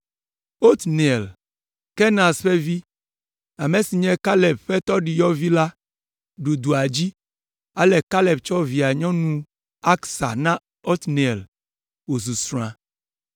Otniel, Kenaz ƒe vi, ame si nye Kaleb ƒe tɔɖiyɔvi la, ɖu dua dzi, ale Kaleb tsɔ via nyɔnu Aksa na Otniel wozu srɔ̃a.